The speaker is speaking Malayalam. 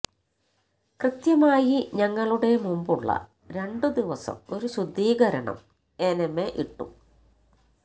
കൃത്യമായി ഞങ്ങളുടെ മുമ്പുള്ള രണ്ട് ദിവസം ഒരു ശുദ്ധീകരണം എനെമ ഇട്ടു